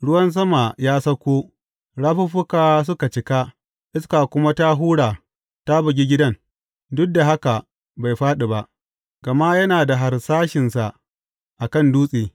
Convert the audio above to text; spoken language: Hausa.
Ruwan sama ya sauko, rafuffuka suka cika, iska kuma ta hura ta bugi gidan; duk da haka bai fāɗi ba, gama yana da harsashinsa a kan dutse.